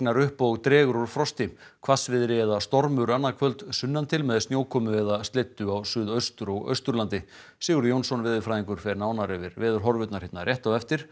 upp og dregur úr frosti hvassviðri eða stormur annað kvöld sunnan til með snjókomu eða slyddu á Suðuaustur og Austurlandi Sigurður Jónsson veðurfræðingur fer nánar yfir veðurhorfurnar hér rétt á eftir